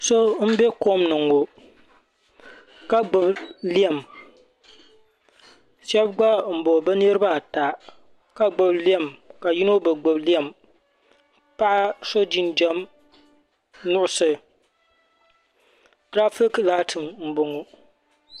So m be komni ŋɔ ka gbibi lɛm sheba gba m boŋɔ bɛ niriba ata ka gbibi lɛm yino bi gbibi lɛm paɣa so jinjiɛm nuɣuso girafiki laati m boŋɔ.